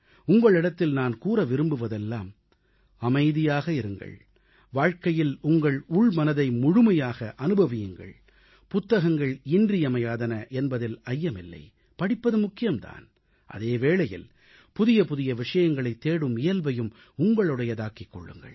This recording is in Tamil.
உங்களிடத்தில் நான் கூற விரும்புவதெல்லாம் அமைதியாக இருங்கள் வாழ்க்கையில் உங்கள் உள்மனதை முழுமையாக அனுபவியுங்கள் புத்தகங்கள் இன்றியமையாதன என்பதில் ஐயமில்லை படிப்பது முக்கியம் தான் அதே வேளையில் புதிய புதிய விஷயங்களைத் தேடும் இயல்பையும் உங்களுடையதாக்கிக் கொள்ளுங்கள்